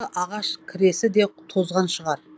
ағаш кресі де тозған шығар